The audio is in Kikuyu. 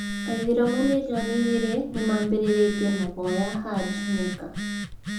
Aithiramu mirioni igĩri nĩmabĩrĩrĩtie mahoya Hajj Mecca